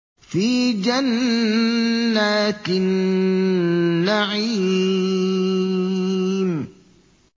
فِي جَنَّاتِ النَّعِيمِ